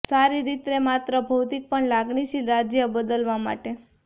સારી રીતે માત્ર ભૌતિક પણ લાગણીશીલ રાજ્ય બદલવા માટે